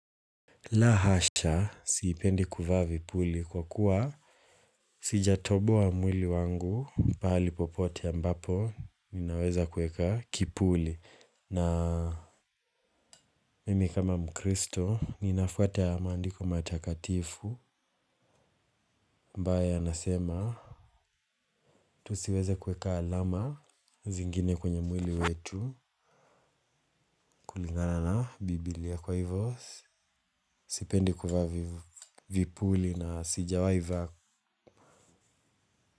La hasha siipendi kuvaa vipuli kwa kuwa sijatoboa mwili wangu pahali popote ambapo ninaweza kueka kipuli na Mimi kama mkristo ninafwata maandiko matakatifu ambaye yanasema tusiweze kueka alama zingine kwenye mwili wetu kulingana na bibilia kwa hivyo. Sipendi kuvaa vipuli na sijawai vaa.